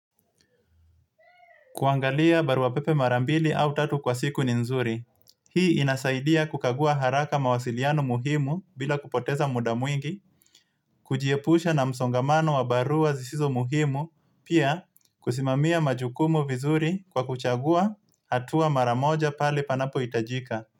Kuangalia barua pepe mara mbili au tatu kwa siku ni nzuri. Hii inasaidia kukagua haraka mawasiliano muhimu bila kupoteza muda mwingi, kujiepusha na msongamano wa barua zisizo muhimu, pia kusimamia majukumu vizuri kwa kuchagua hatua mara moja pale panapohitajika.